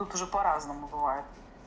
тут уже по-разному бывает